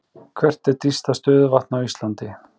Hvert er dýpsta stöðuvatn á Íslandi?